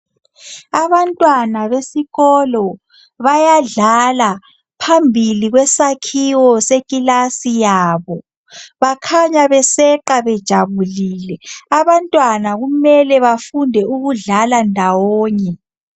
Abantwana besikolo bayadla phembili kwesakhiwo sekilasi yabo. Bakhanya beseqa bejabulile. Abantwana kumele bafunde ukudlala ndawonye.